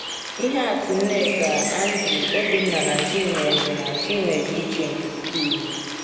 Ihe atụ Nneka, Andrew, Obinna na Chinwe dị na Chinwe dị iche nke ukwuu.